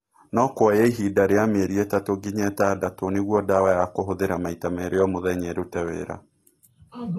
No kuoye ihinda rĩa mĩeri ĩthatũ nginya ĩtandatũ nĩguo ndawa ya kũhũthĩra maita merĩ o mũthenya ĩrute wĩra.